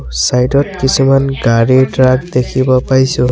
Side ত কিছুমান গাড়ী ট্ৰাক দেখিব পাইছোঁ।